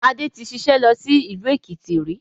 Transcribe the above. Adé tí ṣiṣẹ́ lọ sí ìlú Èkìtì rí